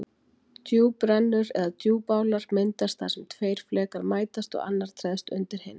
Djúprennur eða djúpálar myndast þar sem tveir flekar mætast og annar treðst undir hinn.